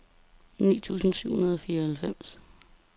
ni tusind syv hundrede og fireoghalvfjerds